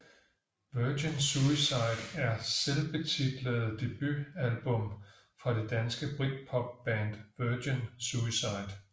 Virgin Suicide er selvbetitlede debutalbum fra det danske britpopband Virgin Suicide